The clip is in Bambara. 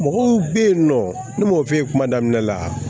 Mɔgɔw bɛ yen nɔ ne m'o f'i ye kuma daminɛ la